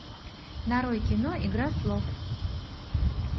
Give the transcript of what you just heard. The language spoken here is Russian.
нарой кино игра слов